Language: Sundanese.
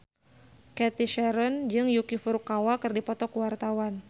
Cathy Sharon jeung Yuki Furukawa keur dipoto ku wartawan